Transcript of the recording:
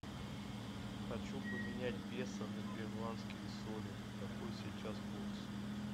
хочу поменять песо на перуанские соли какой сейчас курс